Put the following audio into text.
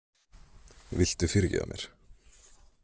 Viltu fyrirgefa mér?